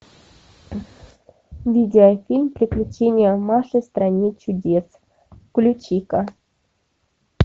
видеофильм приключения маши в стране чудес включи ка